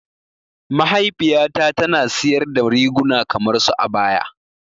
Mahaifiya ta tana siyar da riguna kamar su abaya.